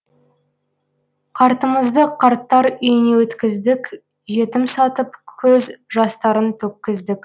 қартымызды қарттар үйіне өткіздік жетім сатып көз жастарын төккіздік